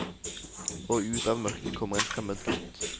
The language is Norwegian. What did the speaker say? Og ut av mørket kommer en fremmed gutt.